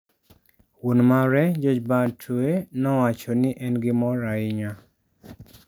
Wuon mare, George Batwe nowacho ni en gimor ahinya.